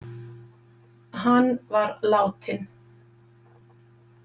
Hann var látinn.